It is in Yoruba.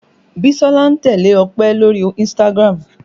Bisola ń tẹ́lẹ̀ Ọpẹ lórí Instagram